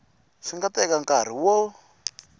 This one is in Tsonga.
swi nga teka nkarhi wo